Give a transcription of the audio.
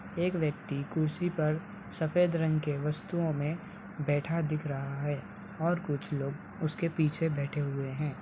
एक व्यक्ति कुर्सी पर सफ़ेद रंग के वस्तुओं में बैठा दिख रहा है और कुछ लोग उसके पीछे बेठे हुए हैं ।